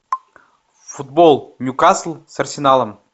футбол ньюкасл с арсеналом